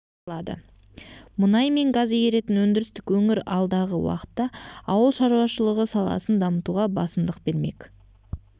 қамтылады мұнай мен газ игеретін өндірістік өңір алдағы уақытта ауыл шаруашылығы саласын дамытуға басымдық бермек